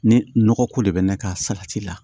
Ni nɔgɔ ko de bɛ ne ka salati la